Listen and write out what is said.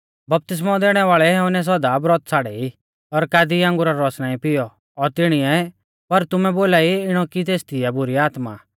बपतिस्मौ दैणै वाल़ै यहुन्नै सौदा ब्रौत छ़ाड़ै ई और कादी अंगुरा रौ रस नाईं पिऔ और तिणीऐ पर तुमै बोलाई इणौ कि तेसदी आ बुरी आत्मा